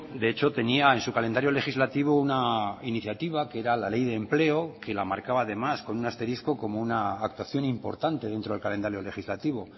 de hecho tenía en su calendario legislativo una iniciativa que era la ley de empleo que la marcaba además con un asterisco como una actuación importante dentro del calendario legislativo